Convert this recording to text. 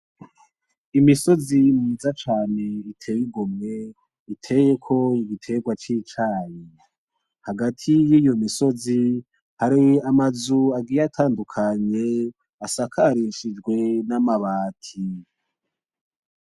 Imisozi myiza cane iteye igomwe, itekeyko ibiterwa c'icayi, Hagati yiyo misozi hari amazu agiye atandukanye asakarishijwe namabati.